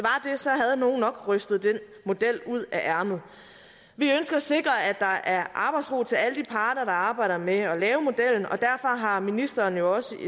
havde nogle nok rystet den model ud af ærmet vi ønsker at sikre at der er arbejdsro til alle de parter der arbejder med at lave modellen og derfor har ministeren jo også